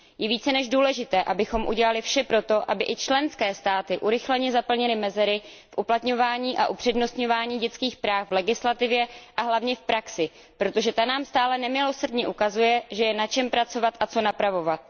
Je více než důležité, abychom udělali vše proto, aby i členské státy urychleně zaplnily mezery v uplatňování a upřednostňování dětských práv v legislativě a hlavně v praxi, protože ta nám stále nemilosrdně ukazuje, že je na čem pracovat a co napravovat.